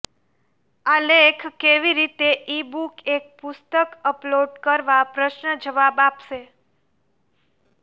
આ લેખ કેવી રીતે ઇબુક એક પુસ્તક અપલોડ કરવા પ્રશ્ન જવાબ આપશે